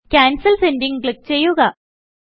cancel sending click ചെയ്യുക